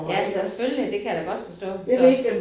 Ja selvfølgelig det kan jeg da godt forstå så